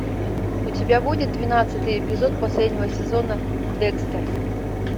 у тебя будет двенадцатый эпизод последнего сезона декстер